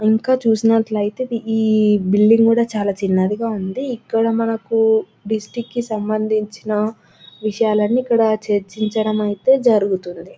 ఇంకా చూసినట్టు అయితే ఈ బిల్డింగ్ కూడా చాలా చిన్నది గ ఉన్నది ఇక్కడ మనకు డిస్టిక్ కి సంబందించిన విషయాలు అన్ని ఇక్కడ చర్చించడం అయితే జరుగుతుంది